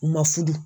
U ma furu